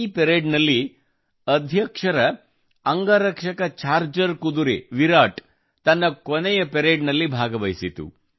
ಈ ಪರೇಡ್ನಲ್ಲಿ ಅಧ್ಯಕ್ಷರ ಅಂಗರಕ್ಷಕ ಚಾರ್ಜರ್ ಕುದುರೆ ವಿರಾಟ್ ತನ್ನ ಕೊನೆಯ ಪರೇಡ್ನಲ್ಲಿ ಭಾಗವಹಿಸಿತು